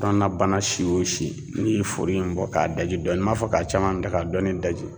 Kɔnɔna bana si o si n'i ye furu in bɔ k'a daji dɔɔnin m'a fɔ ka caman da ka dɔɔnin daji.